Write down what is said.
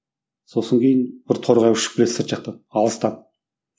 сосын кейін бір торғай ұшып келеді сырт жақтан алыстан